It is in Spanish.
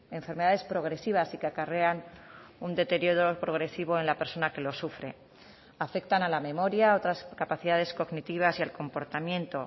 enfermedades progresivas y que acarrean un deterioro progresivo en la persona que lo sufre afectan a la memoria otras capacidades cognitivas y el comportamiento